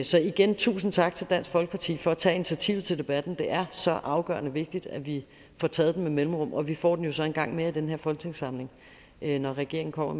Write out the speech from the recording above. så igen tusind tak til dansk folkeparti for at tage initiativet til debatten det er så afgørende vigtigt at vi får taget den med mellemrum og vi får den så en gang mere i den her folketingssamling når regeringen kommer